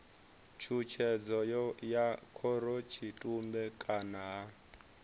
tshutshedzo ya khorotshitumbe kana ha